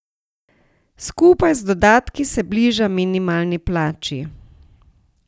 Skupaj z dodatki se bliža minimalni plači.